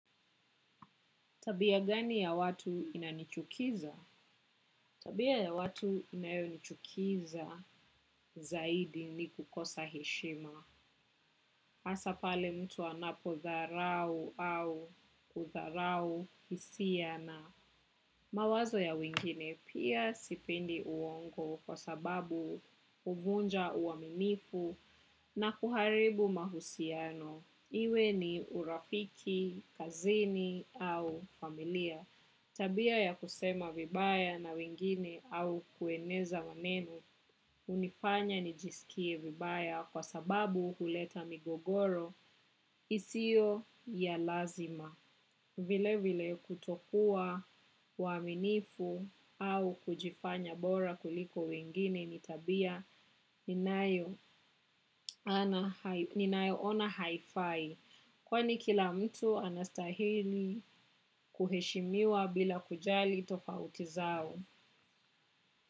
Tabia gani ya watu inanichukiza? Tabia ya watu inayonichukiza zaidi ni kukosa heshima. Hasa pale mtu anapodharau au kudharau hisia na mawazo ya wengine pia sipendi uongo kwa sababu huvunja uaminifu na kuharibu mahusiano. Iwe ni urafiki, kazini au familia. Tabia ya kusema vibaya na wengine au kueneza maneno hunifanya nijisikie vibaya kwa sababu huleta migogoro isiyo ya lazima. Vilevile kutokua waaminifu au kujifanya bora kuliko wengine ni tabia ninayo ninayoona haifai. Kwani kila mtu anastahili kuheshimiwa bila kujali tofauti zao.